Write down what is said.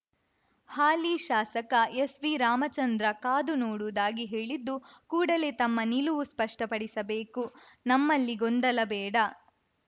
ಹಾಲಿ ಶಾಸಕ ಎಸ್‌ವಿರಾಮಚಂದ್ರ ಕಾದು ನೋಡುವುದಾಗಿ ಹೇಳಿದ್ದು ಕೂಡಲೇ ತಮ್ಮ ನಿಲುವು ಸ್ಪಷ್ಟಪಡಿಸಬೇಕು ನಮ್ಮಲ್ಲಿ ಗೊಂದಲ ಬೇಡ